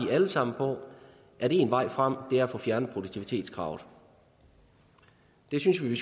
alle sammen på at én vej frem er at få fjernet produktivitetskravet det synes vi